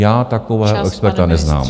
Já takového experta neznám.